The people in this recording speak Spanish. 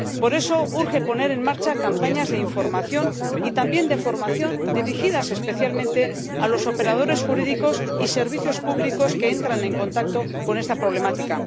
Por eso, urge poner en marcha campañas de información y también de formación dirigidas especialmente a los operadores jurídicos y servicios públicos que entran en contacto con esta problemática.